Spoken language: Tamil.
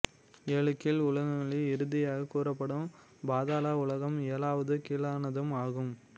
ஏழு கீழ் உலகங்களில் இறுதியாகக் கூறப்படும் பாதள உலகம் ஏழாவதும் கீழானதும் ஆகும்